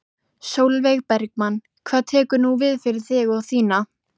Sólveig Bergmann: Hvað tekur nú við fyrir þig og þína?